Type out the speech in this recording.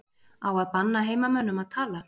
Á að banna heimamönnum að tala?